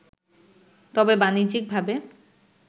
তবে বাণিজ্যিকভাবে